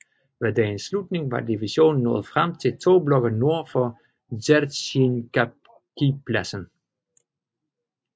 Ved dagens slutning var divisionen nået frem til to blokke nord for Dzerzjinskijpladsen